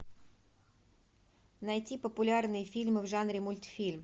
найти популярные фильмы в жанре мультфильм